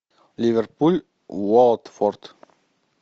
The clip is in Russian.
ливерпуль уотфорд